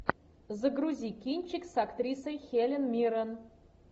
загрузи кинчик с актрисой хелен миррен